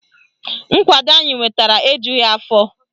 Nkwado anyị nwetara ejughi afọ